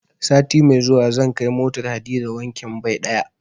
Sati mai zuwa zan kai motar Hadiza wankin bai ɗaya.